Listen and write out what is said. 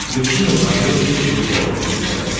включи на смотрешке европа плюс тв